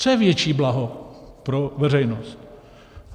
Co je větší blaho pro veřejnost?